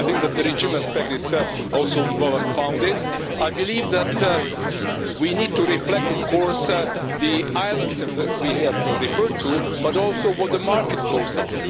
I think that the regional aspect is also well founded. I believe that we need to reflect of course on the energy islands' that we have referred to, but also on what the market flows are.